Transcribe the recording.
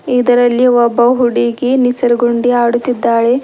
ಇದರಲ್ಲಿ ಒಬ್ಬ ಹುಡುಗಿ ನಿಸರ್ಗುಂಡಿ ಆಡುತ್ತಿದ್ದಾಳೆ.